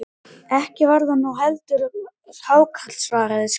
Ekki var það nú hvalur heldur hákarl, svaraði skáldið.